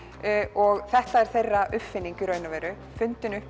og þetta er þeirra uppfinning í raun og veru fundin upp